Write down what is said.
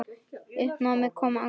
Í uppnámi og angist.